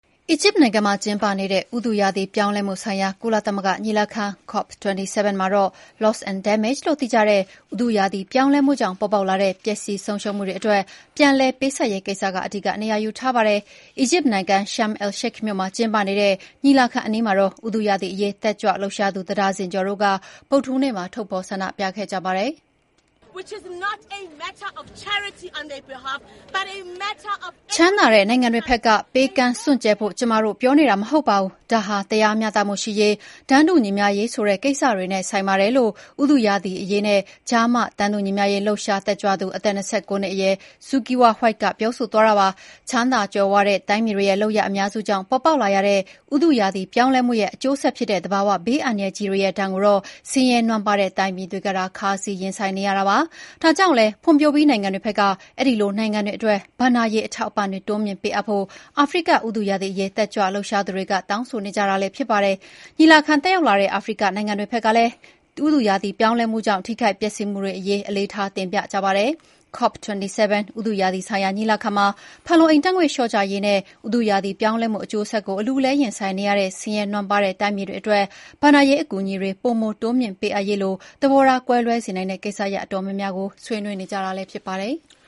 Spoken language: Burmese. အီဂျစ်နိုင်ငံမှာ ကျင်းပနေတဲ့ ဥတုရာသီ ပြောင်းလဲမှုဆိုင်ရာ ကုလသမဂ္ဂညီလာခံ COP27 မှာတော့ Loss and Damage လို့သိကြတဲ့ ဥတုရာသီ ပြောင်းလဲမှုကြောင့် ပေါ်ပေါက်လာတဲ့ ပျက်စီးဆုံးရှုံးမှုတွေ အတွက် ပြန်လည်ပေးဆပ်ရေး ကိစ္စက အဓိက နေရာယူထားပါတယ်။ အီဂျစ်နိုင်ငံ Sharm el-Sheikh မြို့မှာ ကျင်းပနေတဲ့ ညီလာခံအနီးမှာ ဥတုရာသီအရေး တက်ကြွလှုပ်ရှားသူ တဒါဇင်ကျော်တို့ ဗုဒ္ဓဟူးနေ့မှာ ထုတ်ဖော် ဆန္ဒပြခဲ့ကြတာပါ။ “ ချမ်းသာတဲ့ နိုင်ငံတွေဖက်က ပေးကမ်းစွန့်ကြဲဖို့ ကျမတို့ ပြောနေတာ မဟုတ်ပါဘူး။ ဒါဟာ တရားမျှတမှုရှိရေး၊ တန်းတူညီမျှရေးဆိုတဲ့ ကိစ္စတွေနဲ့ ဆိုင်ပါတယ်" ဥတုရာသီအရေးနဲ့ ကျား မ တန်းတူညီမျှရေး တက်ကြွလှုပ်ရှားသူ အသက် ၂၉ နှစ်အရွယ် Zukiswa White ပြောဆိုသွားတာပါ။ ချမ်းသာကြွယ်ဝတဲ့ တိုင်းပြည်တွေရဲ့ လုပ်ရပ်အများစုကြောင့် ပေါ်ပေါက်လာရတဲ့ ဥတုရာသီ ပြောင်းလဲမှုရဲ့ အကျိုးဆက်ဖြစ်တဲ့ သဘာ၀ ဘေးအန္တရာယ်ကြီးတွေရဲ့ ဒဏ်ကိုတော့ ဆင်းရဲနွမ်းပါးတဲ့ တိုင်းပြည်တွေကသာ ခါးစည်းရင်ဆိုင်နေကြရတာပါ။ ဒါကြောင့်လည်း ဖွံ့ဖြိုးပြီး နိုင်ငံတွေဖက်က အဲဒီလို နိုင်ငံတွေအတွက် ဘဏ္ဍာရေး အထောက်အပံ့တွေ တိုးမြှင့်ပေးအပ်ဖို့ အာဖရိက ဥတုရာသီအရေး တက်ကြွလှုပ်ရှားသူတွေက တောင်းဆိုနေကြတာလည်း ဖြစ်ပါတယ်။ ညီလာခံ တက်ရောက်လာတဲ့ အာဖရိကတိုက် နိုင်ငံတွေဖက်က ကိုယ်စားလှယ်တွေကလည်း ဥတုရာသီ ပြောင်းလဲမှုကြောင့် ထိခိုက်ပျက်စီးမှုတွေ အရေး အလေးထားတင်ပြကြပါတယ်။ COP27 ဥတုရာသီဆိုင်ရာ ညီလာခံမှာ ဖန်လုံအိမ်ဓာတ်ငွေ့ လျှော့ချရေးနဲ့ ဥတုရာသီ ပြောင်းလဲမှု အကျိုးဆက်ကို အလူးအလဲ ရင်ဆိုင်နေရတဲ့ ဆင်းရဲနွမ်းပါးတဲ့ တိုင်းပြည်တွေ အတွက် ဘဏ္ဍာရေး အကူအညီတွေ ပိုမိုတိုးမြှင့်ပေးအပ်ရေးလို သဘောထား ကွဲလွဲစေနိုင်တဲ့ ကိစ္စရပ် အတော်များများကို ဆွေးနွေးနေကြတာလည်း ဖြစ်ပါတယ်။